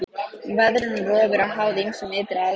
Veðrun og rof eru háð ýmsum ytri aðstæðum.